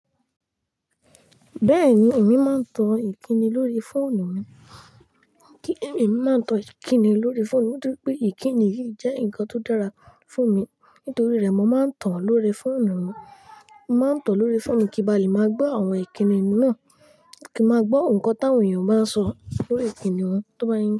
Bẹ́ẹ̀ni, èmi máa ń tọ́ ìkíni lórí fóònù mi. Èmi máa ń tọ ìkíni lórí fóònù mi nítorí pé ìkíni yìí jẹ́ nǹkan tó dára fún mi. Nítorí rẹ̀, mo máa ń tàn lórí fóònù mi. Mo máa ń tọ̀ ọ́ lórí fóònù mi kí ba lè máa gbọ́ àwọn ìkíni náà, kí n máa gbọ́ nǹkan táwọn èèyàn báa ń sọ lórí ìkíni wọn tó bá ń yín.